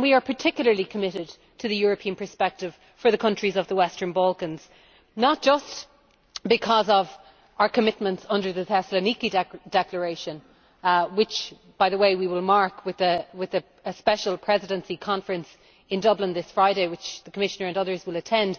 We are particularly committed to the European perspective for the countries of the Western Balkans not just because of our commitments under the Thessaloniki declaration which, by the way, we will mark with a special Presidency conference in Dublin this Friday, which the Commissioner and others will attend